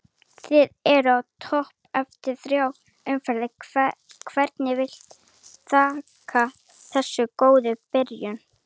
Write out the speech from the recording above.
Þið eruð á toppnum eftir þrjár umferðir, hverju viltu þakka þessa góðu byrjun?